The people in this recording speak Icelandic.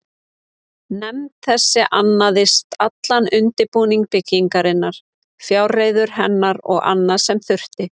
Nefnd þessi annaðist allan undirbúning byggingarinnar, fjárreiður hennar og annað, sem þurfti.